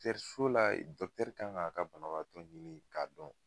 so la kan ka a ka banabaatɔ ɲini ka dɔn.